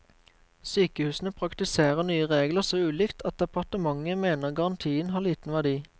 Sykehusene praktiserer nye regler så ulikt at departementet mener garantien har liten verdi.